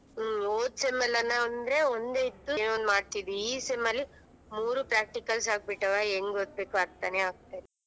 ಹ್ಮ್ ಹೋದ್ sem ಎಲ್ಲಾ ಅಂದ್ರೆ ಒಂದೇ ಇತ್ತು ಏನೊ ಒಂದ್ ಮಾಡ್ತಿದ್ವಿ ಈ sem ಅಲ್ಲಿ ಮೂರೂ practicals ಆಗಬಿಟ್ಟಾವೆ ಹೆಂಗ್ ಓದ್ಬೇಕೋ ಅರ್ಥನೇ ಆಗ್ತಿಲ್ಲ.